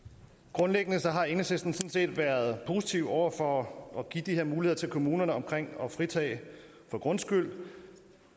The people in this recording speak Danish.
grundlæggende har enhedslisten sådan set været positiv over for at give de her muligheder til kommunerne om fritagelse for grundskyld